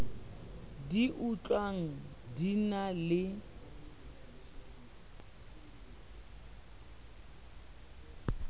di utlwang di na le